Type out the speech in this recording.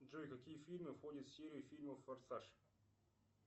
джой какие фильмы входят в серию фильмов форсаж